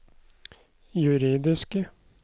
juridiske